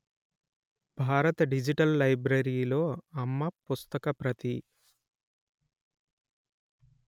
భారత డిజిటల్ లైబ్రరీలో అమ్మ పుస్తక ప్రతి